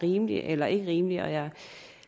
rimeligt eller ikke rimeligt og jeg er